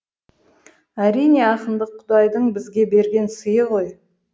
әрине ақындық құдайдың бізге берген сыйы ғой